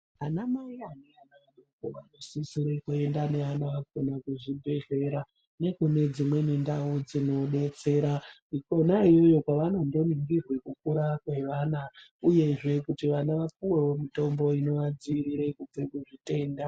Ana mai ane ana adoko anosisire kuenda neana awo kana kuzvibhedlera nekune dzimweni ndau dzinodetsera, kona iyoyo kwavanondorinzirwe kukura kwevana uyewo uyewo kuti vana vapuwewo mutombo unovadziire kubva kuzvitenda.